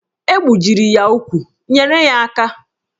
E gbujiri ya ụkwụ, nyere ya aka!